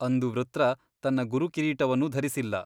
ಅಂದು ವೃತ್ರ ತನ್ನ ಗುರುಕಿರೀಟವನ್ನೂ ಧರಿಸಿಲ್ಲ !